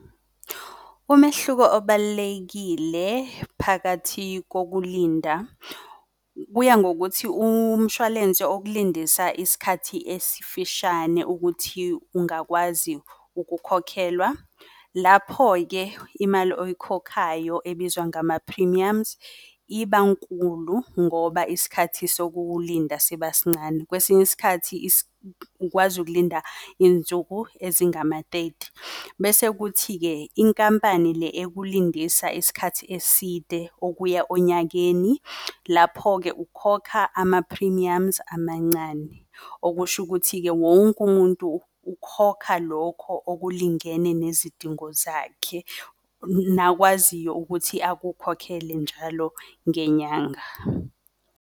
Umehluko obalulekile phakathi kokulinda kuya ngokuthi umshwalense okulindisa isikhathi esifishane ukuthi ungakwazi ukukhokhelwa. Lapho-ke imali oyikhokhayo ebizwa ngama-premiums ibankulu ngoba isikhathi sokulinda siba sincane. Kwesinye isikhathi ukwazi ukulinda iyinsuku ezingama-thirty. Bese kuthi-ke inkampani le ekulindisa isikhathi eside okuya onyakeni, lapho-ke ukhokha ama-premiums amancane. Okusho ukuthi-ke wonke umuntu ukhokha lokho okulingene nezidingo zakhe, nakwaziyo ukuthi akukhokhele njalo ngenyanga.